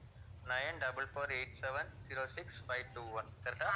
nine double four eight seven zero six five two one, correct ah